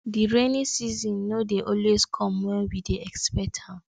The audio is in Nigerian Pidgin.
di rainy season no dey always come wen we dey expect am